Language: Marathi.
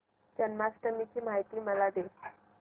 जन्माष्टमी ची माहिती मला दे